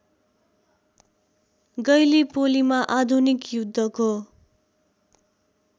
गैलीपोलीमा आधुनिक युद्धको